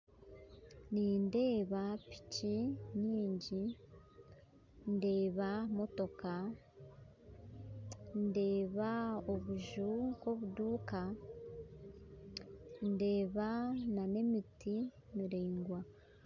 Nindeeba piki nyingi ndeeba motoka ndeeba obuju nkobuduuka ndeeba nana emiti miraigwa